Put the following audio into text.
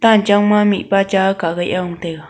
tan chang ma mihpa cha kah gai aa gong taiga.